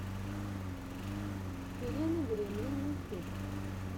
хелена гремлин ютюб